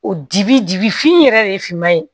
O dibi dibi fin yɛrɛ de ye finman ye